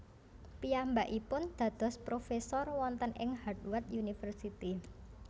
Piyambakipun dados profesor wonten ing Harvard University